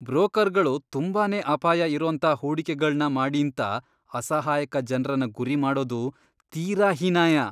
ಬ್ರೋಕರ್ಗಳು ತುಂಬಾನೇ ಅಪಾಯ ಇರೋಂಥ ಹೂಡಿಕೆಗಳ್ನ ಮಾಡೀಂತ ಅಸಹಾಯಕ ಜನ್ರನ್ನ ಗುರಿ ಮಾಡೋದು ತೀರಾ ಹೀನಾಯ.